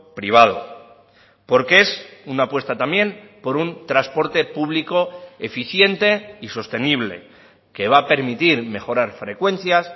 privado porque es una apuesta también por un transporte público eficiente y sostenible que va a permitir mejorar frecuencias